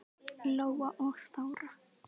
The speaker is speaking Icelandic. Lóa og Þóra.